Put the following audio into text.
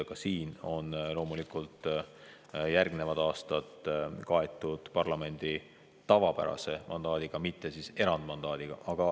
Ka siin on loomulikult järgmised aastad kaetud parlamendi tavapärase mandaadiga, mitte erandmandaadiga.